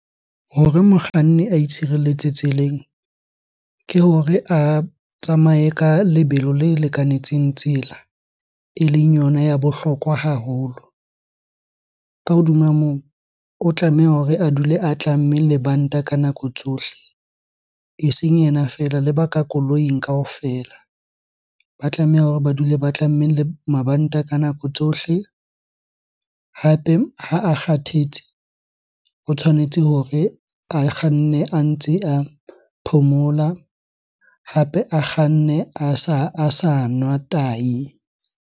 Hore mokganni a itshireletse tseleng, ke hore a tsamaye ka lebelo le lekanetseng tsela eleng yona ya bohlokwa haholo. Ka hodima moo, o tlameha hore a dule a tlamme lebanta ka nako tsohle. Eseng yena feela, le ba ka koloing kaofela ba tlameha hore ba dule ba tlamme mabanta ka nako tsohle. Hape ha a kgathetse, o tshwanetse hore a kganne a ntse a phomola, hape a kganne a sa nwa tahi.